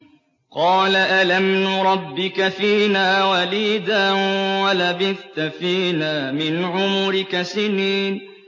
قَالَ أَلَمْ نُرَبِّكَ فِينَا وَلِيدًا وَلَبِثْتَ فِينَا مِنْ عُمُرِكَ سِنِينَ